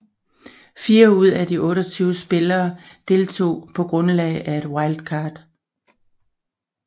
Fire af de 28 spillere deltog på grundlag af et wildcard